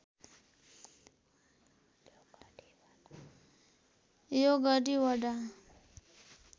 यो गढी वडा